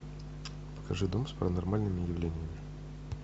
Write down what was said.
покажи дом с паранормальными явлениями